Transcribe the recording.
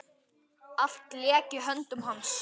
Allt lék í höndum hans.